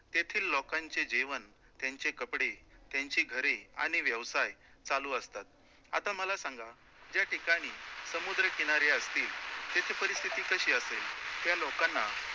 तेथील लोकांचे जीवन, त्यांचे कपडे, त्यांची घरे आणि व्यवसाय चालू असतात, आता मला सांगा ज्या ठिकाणी समुद्रकिनारी असतील, तेथे परिस्थिती कशी असेल, त्या लोकांना